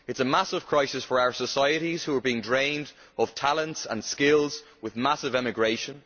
it is a massive crisis for our societies, which are being drained of talents and skills with massive emigration